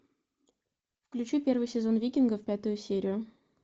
включи первый сезон викингов пятую серию